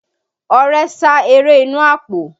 Ọrẹ sá eré inú àpò